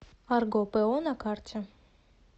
арго по на карте